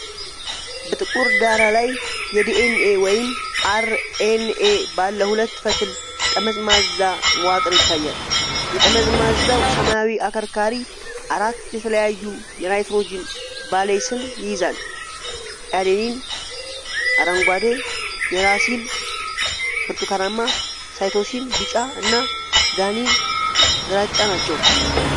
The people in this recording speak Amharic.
በጥቁር ዳራ ላይ የዲኤንኤ ወይም አርኤንኤ ባለ ሁለት ፈትል ጠመዝማዛ መዋቅር ይታያል። የጠመዝማዛው ሰማያዊ አከርካሪ አራት የተለያዩ የናይትሮጂን ባሴስን ይይዛል፤ አዴኒን (አረንጓዴ)፣ ዩራሲል (ብርቱካናማ)፣ ሳይቶሲን (ቢጫ) እና ጓኒን (ግራጫ) ናቸው።